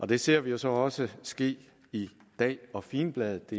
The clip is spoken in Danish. det ser vi jo så også ske i dag og figenbladet